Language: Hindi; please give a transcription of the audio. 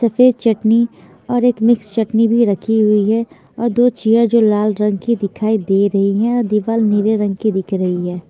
सफ़ेद चटनी और एक मिक्स चटनी भी रखी हुई है और दो चेयर जो लाल रंग की दिखाई दे रही हैं और दिवार नीले रंग की दिख रही है।